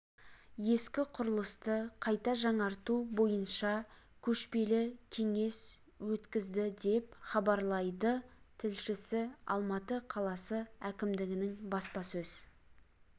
ескі құрылысты қайта жаңарту бойынша көшпелі кеңес өткізді деп хаабрлайдыт тілшісі алматы қаласы әкімдігінің баспасөз